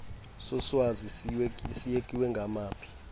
soswazi siyekiwe ngawaphi